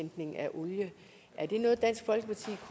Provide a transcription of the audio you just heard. olie er det